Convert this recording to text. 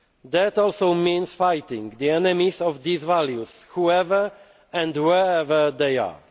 fear. This also means fighting the enemies of those values whoever and wherever they